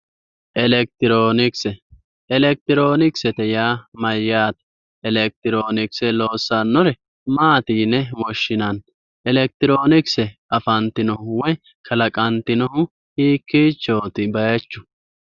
Elekitiroonikise elekitiroonisete yaa mayyaate? Elekitiroonikise loossannori maati yine woshshinanni? Elekitiroonikise afantinohu woye kalaqantinohu Hiikkichooti bayeechu